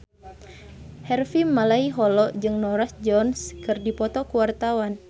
Harvey Malaiholo jeung Norah Jones keur dipoto ku wartawan